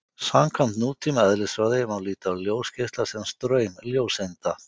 samkvæmt nútíma eðlisfræði má líta á ljósgeisla sem straum ljóseinda